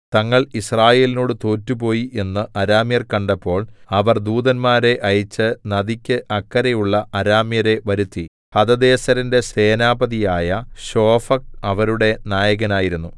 തങ്ങൾ യിസ്രായേലിനോടു തോറ്റുപോയി എന്നു അരാമ്യർ കണ്ടപ്പോൾ അവർ ദൂതന്മാരെ അയച്ചു നദിക്കു അക്കരെയുള്ള അരാമ്യരെ വരുത്തി ഹദദേസെരിന്റെ സേനാപതിയായ ശോഫക്ക് അവരുടെ നായകനായിരുന്നു